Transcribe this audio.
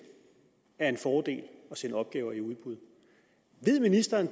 er en fordel at sende opgaver i udbud ved ministeren